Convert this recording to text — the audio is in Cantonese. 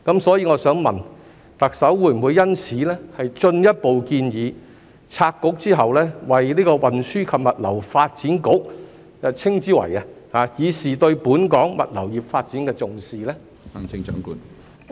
所以我想問，特首會否就此進一步建議拆局後，將新局稱之為運輸及物流發展局，以示對本港物流業發展的重視？